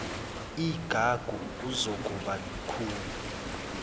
igagu kuzokuba lukhuni